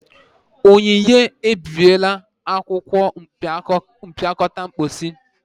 Onyinye ebibiela akwụkwọ mpịakọta mposi.